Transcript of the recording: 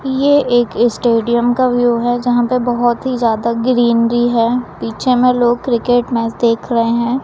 ये एक स्टेडियम का व्यू है जहां पे बहोत ही ज्यादा ग्रीनरी है पीछे में लोग क्रिकेट मैच देख रहे हैं।